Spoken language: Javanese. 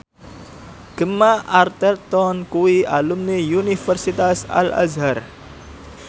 Gemma Arterton kuwi alumni Universitas Al Azhar